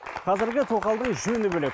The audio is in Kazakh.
қазіргі тоқалдың жөні бөлек